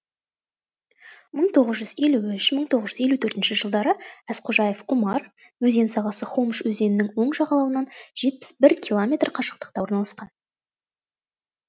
мың тоғыз жүз елу үш мың тоғыз жүз елу төртінші жылдары әзқожаев омар өзен сағасы хомыш өзенінің оң жағалауынан жетпіс бір километр қашықтықта орналасқан